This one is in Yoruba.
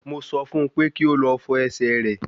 Mo sọ fún un pé kí ó lọ fọ ẹsẹ̀ rẹ̀